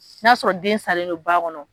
Na sɔrɔ den sanlen don ba kɔnɔ.